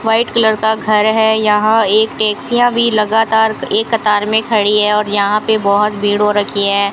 White colour का घर है यहां ये टैक्सियां भी लगातार एक कतार में खड़ी है और यहां पे बहोत भीड़ हो रखी है।